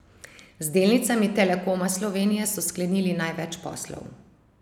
Z delnicami Telekoma Slovenije so sklenili največ poslov.